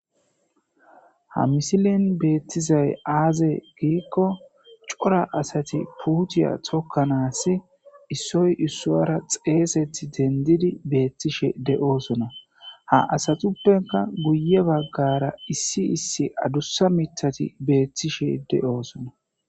ha misilin beettizay aaze giikko cora asati puuciya tokkanaasi issoy issuara xeesethi dendidi beettishe de7osona ha asatuppenka guye baggara issi issi adussa mitati beettishe de7oosona